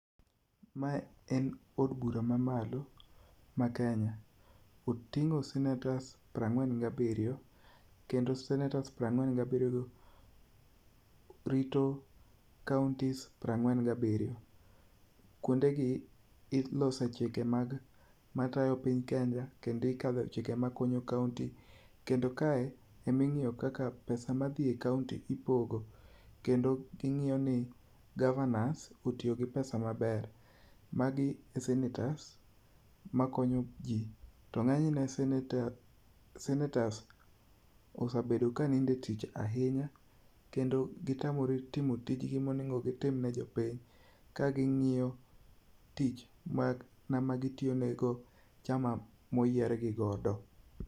Mae en od bura ma malo ma kenya, oting'o senators piero ang'wen gabiriyo, kendo senators piero ang'wen gabiriyo gi rito counties piero ang'wem gabiriyo, kuonde gi ilose chike matayo piny kenya kendo ikadhe chike makonyo county kendo kae ema ingiye kaka pesa madhi e county ipogo kendo gi ng'iyo ni governors otiyo gi pesa maber, magi e senators makonyo ji to ng'eny ne senators osebedo kanindo e tich ahinya, kendo gitamre timo tijni monego gitim ne jopiny ka gi ng'iyo ng'ama onego gitine gi chama moyier gi godo.